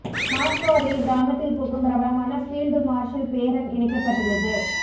Moscow அருகே கிராமத்தில் பூக்கும் பிரபலமான ஃபீல்டு மார்ஷல் பேரன் இணைக்கப்பட்டுள்ளது